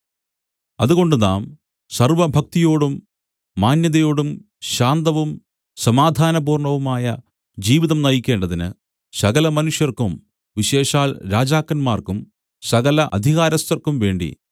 അതുകൊണ്ട് നാം സർവ്വഭക്തിയോടും മാന്യതയോടും ശാന്തവും സമാധാനപൂർണ്ണവുമായ ജീവിതം നയിക്കേണ്ടതിന് സകലമനുഷ്യർക്കും വിശേഷാൽ രാജാക്കന്മാർക്കും സകല അധികാരസ്ഥർക്കും വേണ്ടി